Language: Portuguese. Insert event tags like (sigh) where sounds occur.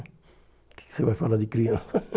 O que que você vai falar de criança? (laughs)